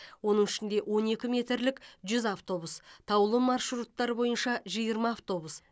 оның ішінде он екі метрлік жүз автобус таулы маршруттар бойынша жиырма автобус